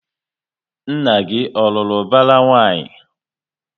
Nna gị ọ lụrụ ubara nwanyị?